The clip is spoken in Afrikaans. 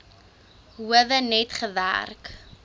howe net gewerk